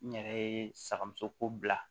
N yɛrɛ ye sagamuso ko bila